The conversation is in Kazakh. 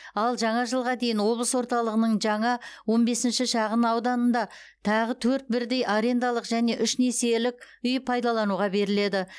ал жаңа жылға дейін облыс орталығының жаңа он бесінші шағын ауданында тағы төрт бірдей арендалық және үш несиелік үй пайдалануға беріледі